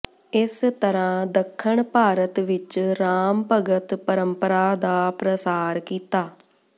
ਇਸ ਤਰ੍ਹਾਂ ਦੱਖਣ ਭਾਰਤ ਵਿਚ ਰਾਮ ਭਗਤ ਪਰੰਪਰਾ ਦਾ ਪ੍ਰਸਾਰ ਕੀਤਾ